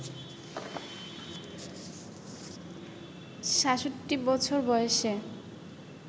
৬৭ বছর বয়সে